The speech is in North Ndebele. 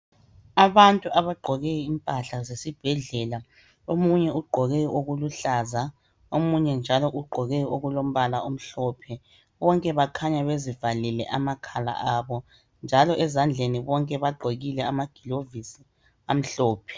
Abantu abagqoke impahla zesibhedlela omunye ugqoke okuluhlaza, omunye njalo ugqoke okulombala omhlophe, bonke bakhanya bezivalile amakhala abo njalo ezandleni bonke bagqokile amagilovizi amhlophe.